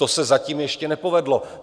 To se zatím ještě nepovedlo.